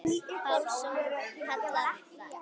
Pálsson kallar það.